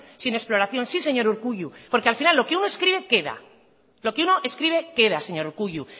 sino exploración sí señor urkullu porque al final lo que uno escribe queda lo que uno escribe queda señor urkullu